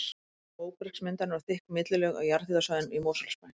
Mest er um móbergsmyndanir og þykk millilög á jarðhitasvæðunum í Mosfellsbæ.